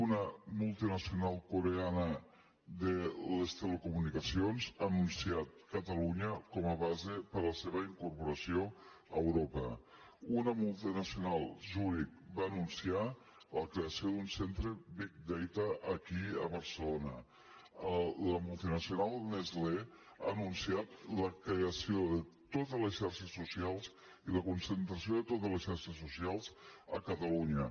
una multinacional coreana de les telecomunicacions ha anunciat catalunya com a base per a la seva incorporació a europa una multinacional zurich va anunciar la creació d’un centre big data aquí a barcelona la multinacional nestlé ha anunciat la creació de totes les xarxes socials i la concentració de totes les xarxes socials a catalunya